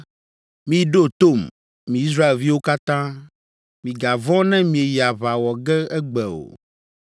‘Miɖo tom, mi Israelviwo katã. Migavɔ̃ ne mieyi aʋa wɔ ge egbe o!